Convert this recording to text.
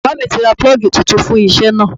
Bàbá mi ti ra 'Púlọ́gì' titun fún isẹ́ náà